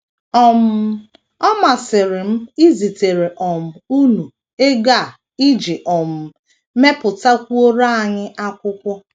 “ um Ọ masịrị m izitere um unu ego a iji um mepụtakwuoro anyị akwụkwọ.